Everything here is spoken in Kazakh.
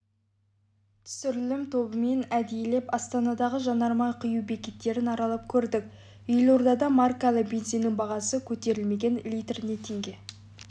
түсірілім тобымен әдейілеп астанадағы жанармай құю бекеттерін аралап көрдік елордада маркалы бензиннің бағасы көтерілмеген литріне теңге